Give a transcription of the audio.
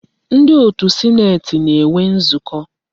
Ndi otu sineeti na-enwe nzukọ.